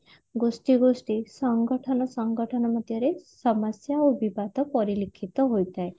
ଗୋଷ୍ଠୀ ଗୋଷ୍ଠୀ ସଂଗଠନ ସଂଗଠନ ମଧ୍ୟରେ ସମସ୍ଯା ଓ ବିବାଦ ପରିଲିଖିତ ହୋଇଥାଏ